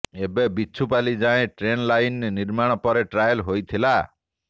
ଏବେ ବିଛୁପାଲି ଯାଏଁ train line ନିର୍ମାଣ ପରେ ଟ୍ରାଏଲ ହୋଇଥିଲା